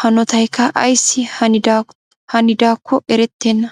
hanottaykka ayssi hanidaakko erettenna.